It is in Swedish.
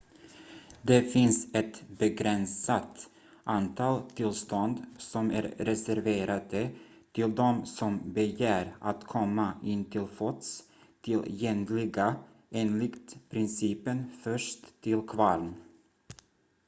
det finns ett begränsat antal tillstånd som är reserverade till de som begär att komma in till fots tillgängliga enligt principen först till kvarn